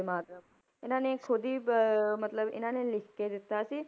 ਮਾਤਰਮ ਇਹਨਾਂ ਨੇ ਖੁੱਦ ਹੀ ਅਹ ਮਤਲਬ ਇਹਨਾਂ ਨੇ ਲਿਖ ਕੇ ਦਿੱਤਾ ਸੀ,